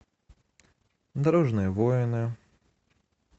дорожные войны